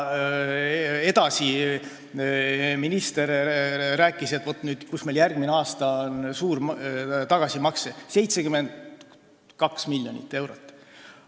Minister rääkis, et vaat kus meil järgmisel aastal on suur tagasimakse, 72 miljonit eurot.